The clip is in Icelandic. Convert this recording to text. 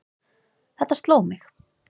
Þetta sló mig.